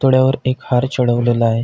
पुतळ्यावर एक हार चढवलेला आहे.